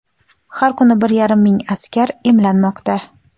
Har kuni bir yarim ming askar emlanmoqda.